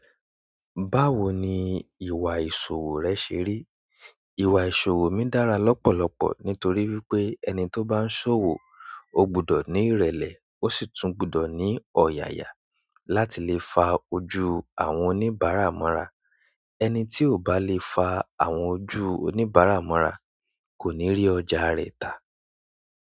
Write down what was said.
Báwo ní ìwà ìṣòwò rẹ ṣe rí? Ìwà ìṣòwò mi dára lọ́pọ̀lọpọ̀ nítorí wípé ẹni tó bá ń ṣòwò ó gbúdọ̀ ni ìrẹ̀lẹ̀ osi tún gbúdọ̀ ni ọ̀yàyà láti lè fa ojú àwọn oníbárà mọ́ra. Ẹni tí ò bá lè fa àwọn ojú oníbàárà mọ́ra kò ní rí ọjà rẹ̀ tà.